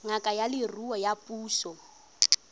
ngaka ya leruo ya puso